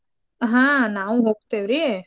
ಹಾ ನಾವೂ ಹೋಗ್ತೇವ್ರೀ.